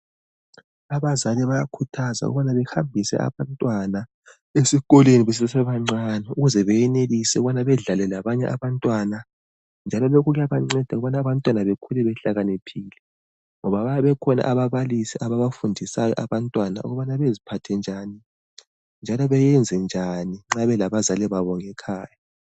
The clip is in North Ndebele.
Abazali bayakhuthazwa ukubana behambise abantwana esikolweni besesebancane. Ukuze beyenelise ukubana bedlale labanye abantwana njalo lokhu kuyabanceda ukubana abantwana bakhule behlakaniphile, ngoba bayabe bekhona ababalisi ababafundisayo abantwana ukubana beziphathe njani njalo bayenze njani nxa belabazali babo ngekhaya.